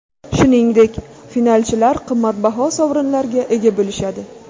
Shuningdek, finalchilar qimmatbaho sovrinlarga ega bo‘lishadi.